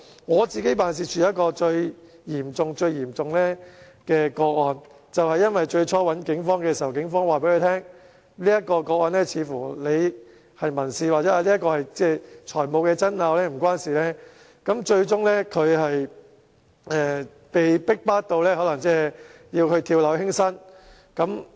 我的辦事處接到一宗最嚴重的個案，是事主最初向警方求助，警方對他說這宗個案似乎是民事或財務爭拗，導致該市民最終被逼迫至跳樓輕生。